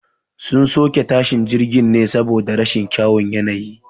Sun soke tashin jirgin ne saboda rashin kyawun yanayi